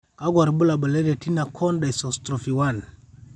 kakwa irbulabol le Retina cone dystrophy 1?